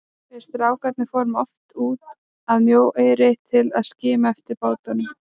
Við strákarnir fórum oft út að Mjóeyri til að skima eftir bátunum.